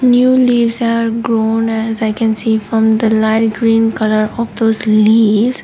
new leaves are grown as i can see from the light green colour of those leaves.